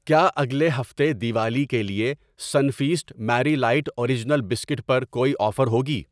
کیا اگلے ہفتے دیوالی کے لیے Sunfeast Marie light original biscuit پر کوئی آفر ہوگی؟